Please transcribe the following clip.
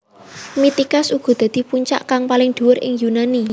Mitikas uga dadi puncak kang paling dhuwur ing Yunani